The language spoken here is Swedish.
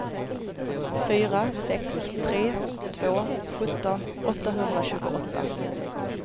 fyra sex tre två sjutton åttahundratjugoåtta